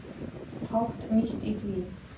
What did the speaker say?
Fátt nýtt í því.